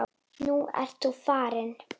Nú ert þú farinn.